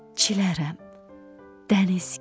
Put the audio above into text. Çilərəm dəniz kimi.